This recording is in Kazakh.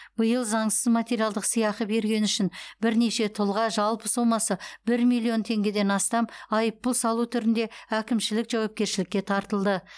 биыл заңсыз материалдық сыйақы бергені үшін бірнеше тұлға жалпы сомасы бір миллион теңгеден астам айыппұл салу түрінде әкімшілік жауапкершілікке тартылды